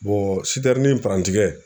sitɛrrni parantikɛ